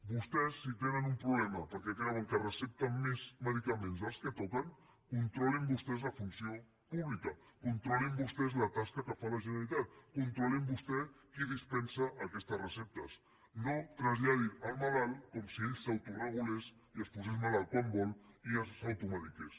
vostès si tenen un problema perquè creuen que recepten més medicaments dels que toquen controlin vostès la funció pública controlin vostès la tasca que fa la generalitat controlin vostès qui dispensa aquestes receptes no ho traslladin al malalt com si ell s’autoregulés i es posés malalt quan vol i s’automediqués